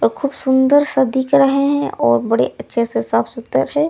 और खूब सुन्दर-सा दिख रहे हैं और बड़े अच्छे से साफ सुथरा है ।